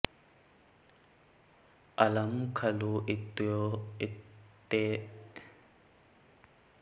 अलम् खलु इत्येतयोः प्रतिषेधवाचिनोरुपपदयोः धातोः क्त्वा प्रत्ययो भवति प्राचाम् आचार्याणां मतेन